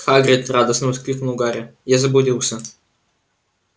хагрид радостно воскликнул гарри я заблудился